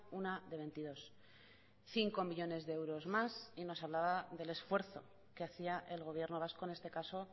una de veintidós cinco millónes de euros más y nos hablaba del esfuerzo que hacía el gobierno vasco en este caso